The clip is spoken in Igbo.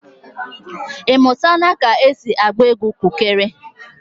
Ị mụtala ka esi agba egwu kukere?